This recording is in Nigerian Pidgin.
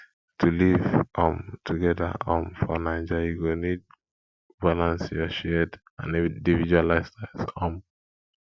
to live um together um for naija you go need balance your shared and individual lifestyles um